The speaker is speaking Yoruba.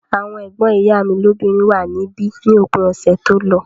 Àwọn ẹ̀gbọ́n ìyá mi lóbìnrin wà níbí ní òpin ọ̀sẹ̀ tó lọ